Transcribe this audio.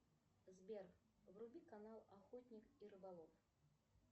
сбер вруби канал охотник и рыболов